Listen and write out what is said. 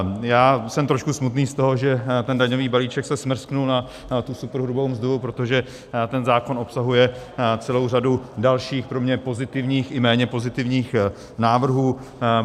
Já jsem trošku smutný z toho, že ten daňový balíček se smrsknul na tu superhrubou mzdu, protože ten zákon obsahuje celou řadu dalších, pro mě pozitivních i méně pozitivních návrhů.